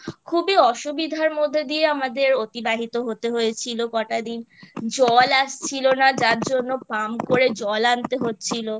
খুবই অসুবিধার মধ্যে দিয়ে আমাদের অতিবাহিত হতে হয়েছিল কটা দিন জল আসছিলো না যার জন্য Pump করে জল আনতে হচ্ছিলো